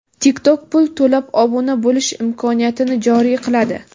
TikTok pul to‘lab obuna bo‘lish imkoniyatini joriy qiladi.